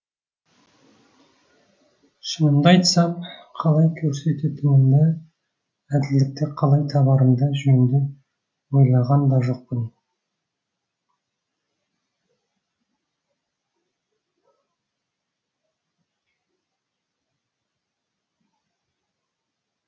шынымды айтсам қалай көрсететінімді әділдікті қалай табарымды жөнді ойлаған да жоқпын